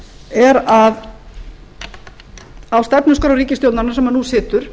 er að á stefnuskrá ríkisstjórnarinnar sem nú situr